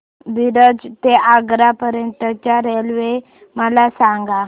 मिरज ते आग्रा पर्यंत च्या रेल्वे मला सांगा